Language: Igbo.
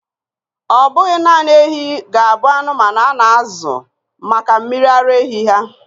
Ọ bụghị naanị ehi ga-abụ anụmanụ a na-azụ maka mmiri ara ehi ha.